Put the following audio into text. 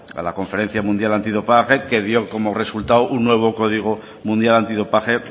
a la conferencia mundial antidopaje que dio como resultado un nuevo código mundial antidopaje